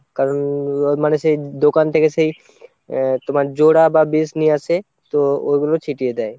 কারণ মানে সেই দোকান থেকে সেই তোমার জোড়া বা বিষ নিয়ে আসে তো ঐগুলো ছিটিয়ে দেয়।